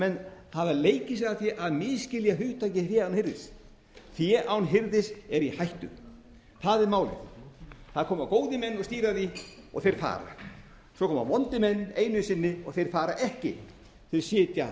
menn hafa leikið sér að því að misskilja hugtakið fé án hirðis fé án hirðis er í hættu það er málið það koma góðir menn og stýra því og þeir fara svo koma vondir menn einu sinni og þeir fara ekki þeir sitja